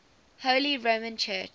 holy roman church